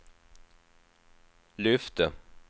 lyfte